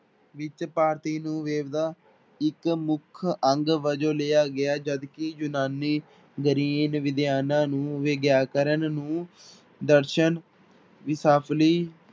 ਵਿੱਚ ਭਾਰਤੀ ਨੂੰ ਇੱਕ ਮੁੱਖ ਅੰਗ ਵਜੋਂ ਲਿਆ ਗਿਆ ਜਦਕਿ ਯੂਨਾਨੀ ਗ੍ਰੀਨ ਵਿਗਿਆਨਾਂ ਨੂੰ ਵਿਆਕਰਨ ਨੂੰ ਦਰਸ਼ਨ